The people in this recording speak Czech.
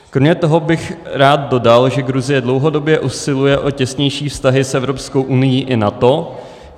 Kromě toho bych rád dodal, že Gruzie dlouhodobě usiluje o těsnější vztahy s Evropskou unií i NATO.